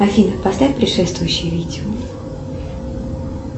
афина поставь предшествующее видео